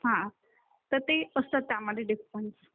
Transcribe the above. हा ते असतात त्यामध्ये डिफरन्स